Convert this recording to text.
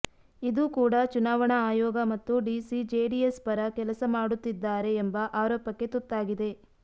ಇದು ಕೂಡ ಚುನಾವಣಾ ಆಯೋಗ ಮತ್ತು ಡಿಸಿ ಜೆಡಿಎಸ್ ಪರ ಕೆಲಸ ಮಾಡುತ್ತಿದ್ದಾರೆ ಎಂಬ ಆರೋಪಕ್ಕೆ ತುತ್ತಾಗಿದೆ